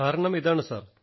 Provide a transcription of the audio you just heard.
കാരണം ഇതാണ് സർ